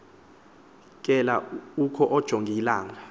kela oku ujongilanga